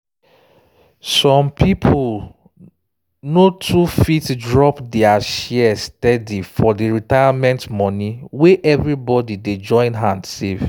some people no too fit drop their share steady for the retirement money wey everybody dey join hand save